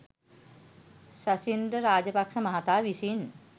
ශෂීන්ද්‍ර රාජපක්‍ෂ මහතා විසින්